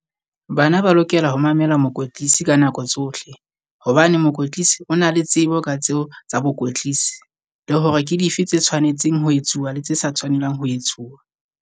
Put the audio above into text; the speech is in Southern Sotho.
Bana ba lokela ho mamela mokwetlisi ka nako tsohle, hobane mokwetlisi o na le tsebo ka tseo tsa bokwetlisi. Le hore ke dife tse tshwanetseng ho etsuwa le tse sa tshwanelang ho etsuwa.